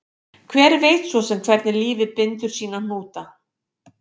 Hver veit svo sem hvernig lífið bindur sína hnúta